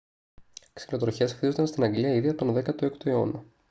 ξυλοτροχιές χτίζονταν στην αγγλία ήδη από τον 16ο αιώνα